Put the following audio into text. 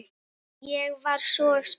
Ég var svo spennt.